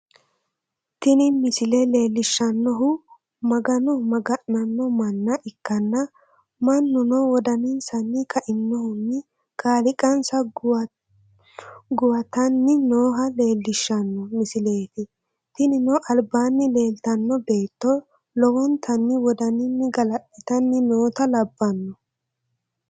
Tini misile leellishshannohu magano magana'no manna ikkanna, mannuno wodanisanni ka'inohunni kaaliiqansa guwatanni nooha leellishshanno misileeti, tinino albaanni leeltanno beetto lowontanni wodaninni galaxitanni noota labbanno.